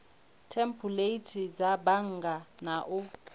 thempuleithi dza bannga na u